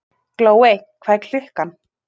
Glóey, hvað er klukkan?